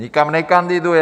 Nikam nekandiduje.